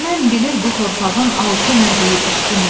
Düşmən bilir bu torpağın altı nədir, üstü nə.